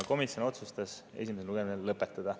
Komisjon otsustas esimese lugemise lõpetada.